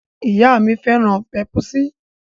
Ìyá mi féràn pèp̀usí.